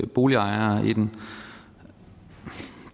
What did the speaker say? boligejere i den